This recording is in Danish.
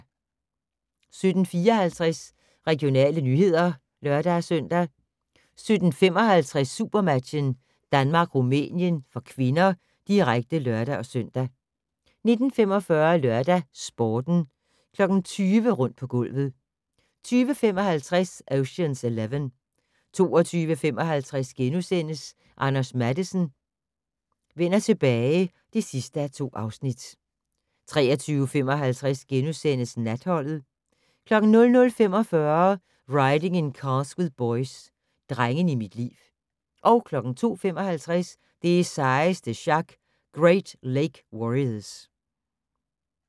17:54: Regionale nyheder (lør-søn) 17:55: SuperMatchen: Danmark-Rumænien (k), direkte (lør-søn) 19:45: LørdagsSporten 20:00: Rundt på gulvet 20:55: Ocean's Eleven 22:55: Anders Matthesen: Vender tilbage (2:2)* 23:55: Natholdet * 00:45: Riding in Cars With Boys - Drengene i mit liv 02:55: Det sejeste sjak - Great Lake Warriors